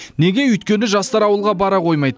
неге өйткені жастар ауылға бара қоймайды